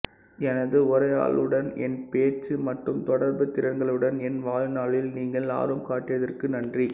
எனது உரையாடலுடன் என் பேச்சு மற்றும் தொடர்பு திறன்களுடன் என் வாழ்நாளில் நீங்கள் ஆர்வம் காட்டியதற்கு நன்றி